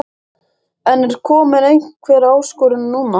En er komin einhver áskorun núna?